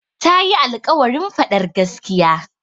Ta yi alƙawarin faɗar gaskiya.